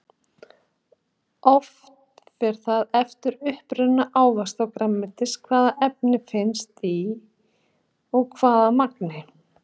Oft fer það eftir uppruna ávaxta og grænmetis hvaða efni finnast og í hvaða magni.